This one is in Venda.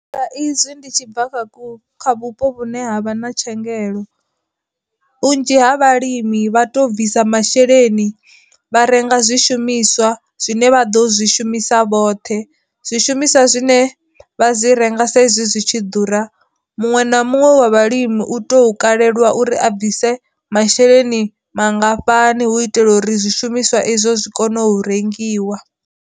Sa izwi ndi tshi bva kha vhupo vhune havha na tshengelo, vhunzhi ha vhalimi vha to bvisa masheleni vha renga zwi shumiswa zwine vha ḓo zwi shumisa vhoṱhe, zwishumiswa zwine vha dzi renga sa izwi zwi tshi ḓura, muṅwe na muṅwe wa vhalimi u to kalelwa uri a bvise masheleni mangafhani hu itela uri zwishumiswa izwo zwi kone u rengiwa.